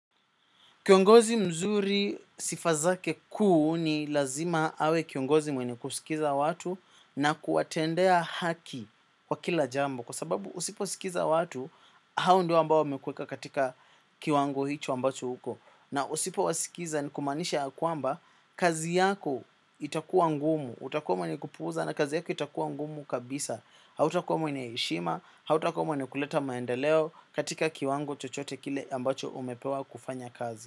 Kiongozi mzuri sifa zake kuu ni lazima awe kiongozi mwenye kuskiza watu na kuwatendea haki wa kila jambo. Kwa sababu usiposkiza watu, hao ndio ambao wamekuweka katika kiwango hicho ambacho huko. Na usipo wasikiza ni kumaanisha ya kwamba, kazi yako itakuwa ngumu. Utakuwa mwenye kupuuza na kazi yako itakuwa ngumu kabisa. Hautakuwa mwenye heshima, hautakuwa mwenye kuleta maendeleo katika kiwango chochote kile ambacho umepewa kufanya kazi.